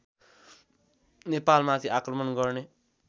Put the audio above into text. नेपालमाथि आक्रमण गर्ने